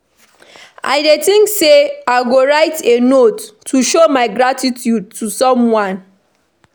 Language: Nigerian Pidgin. I dey think say I go write a note to show my gratitude to someone.